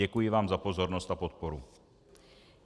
Děkuji vám za pozornost a podporu.